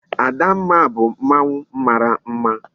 Adamma bu mmanwu mara mma